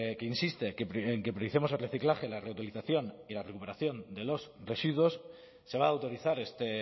que insiste en que prioricemos el reciclaje la reutilización y la recuperación de los residuos se va a autorizar este